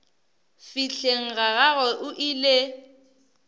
fihleng ga gagwe o ile